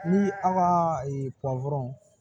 Ni an ka